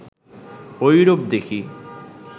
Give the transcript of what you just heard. ঐরূপ দেখি